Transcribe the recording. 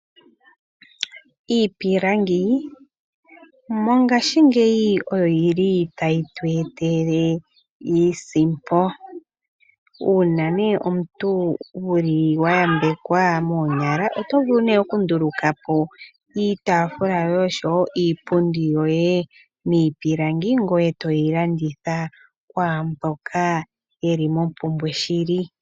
Iipilangi, mongashingeyi oyo yili tayi tu etele iisimpo. Una nee omuntu wuli wa yambekwa moonyala oto vulu ne oku ndulukapo iitafula yoye oshowo iipundi yoye miipilangi, ngoye toyi landitha kwaamboka yeli mompumbwe shili.